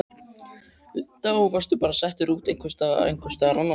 Linda: Og varstu bara settur út einhvers staðar annars staðar?